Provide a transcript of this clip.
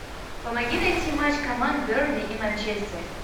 помоги найти матч команд бернли и манчестер